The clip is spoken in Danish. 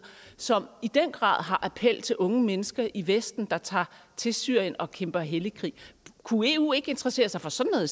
som i den grad har appel til unge mennesker i vesten der tager til syrien og kæmper hellig krig kunne eu ikke interessere sig for sådan